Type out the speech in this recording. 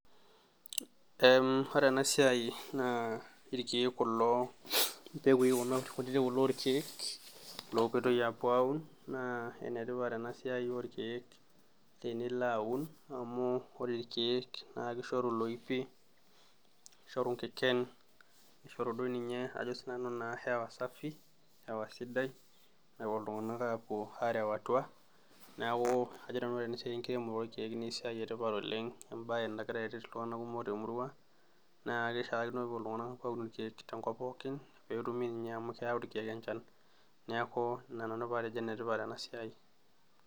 Ee ore enasiai na irkiek kulo mbekui orkiek lopoitoi apuo aun na enetipat enasiai orkiek tenilo aun amu ore irkiek na kishoru loipi, nishoru nkiken nishoru naduoninye ajo sinanu hewa safi napuo ltunganak apuo areu atua neaku kajo nanu ore esiai enkiremore orkiek na esiai esidai oleng embae nagira aret ltunganak temurua na kishaakino peepuo ltunganak aun irkiek tenkop pookin amu keyau irkiek enchan neaku inananu patejo enetipat enasiai.